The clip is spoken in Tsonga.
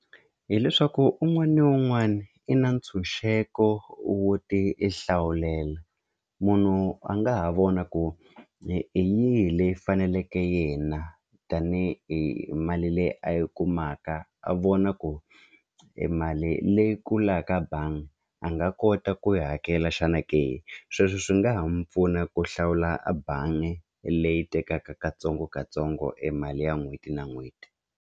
Hileswaku un'wana na un'wana i na ntshunxeko wo ti i hlawulela munhu a nga ha vona ku hi yihi leyi faneleke yena tanihi hi mali leyi a yi kumaka a vona ku e mali leyi kulaka bangi a nga kota ku yi hakela xana ke sweswo swi nga ha mu pfuna ku hlawula a bangi leyi tekaka katsongokatsongo e mali ya n'hweti na n'hweti.